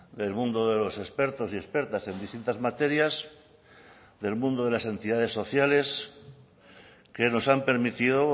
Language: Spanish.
del mundo de los expertos y expertas en distintas materias del mundo de las entidades sociales que nos han permitido